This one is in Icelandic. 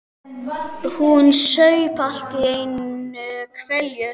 Hún saup allt í einu hveljur.